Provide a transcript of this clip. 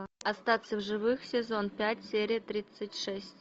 остаться в живых сезон пять серия тридцать шесть